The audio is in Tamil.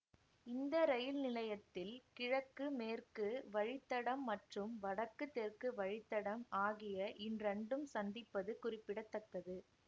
இந்த ரயில் நிலையத்தில் கிழக்கு மேற்கு வழித்தடம் மற்றும் வடக்கு தெற்கு வழித்தடம் ஆகிய இன்ரண்டும் சந்திப்பது குறிப்பிட தக்கது